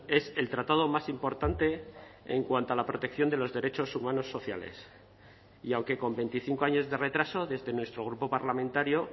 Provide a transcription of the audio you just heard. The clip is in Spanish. es el tratado más importante en cuanto a la protección de los derechos humanos sociales y aunque con veinticinco años de retraso desde nuestro grupo parlamentario